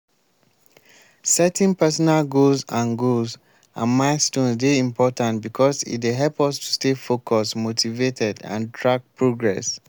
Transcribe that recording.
setting personal goals and goals and milestones dey important because e dey help us to stay focused motivated and track progress.